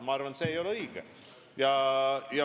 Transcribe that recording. Ma arvan, et see ei ole õige.